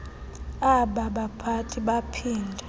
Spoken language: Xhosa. aba baphathi baphinda